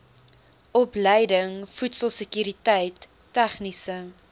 opleiding voedselsekuriteit tegniese